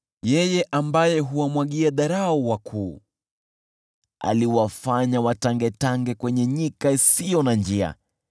Yeye ambaye huwamwagia dharau wakuu, aliwafanya watangetange nyikani isiyo na njia.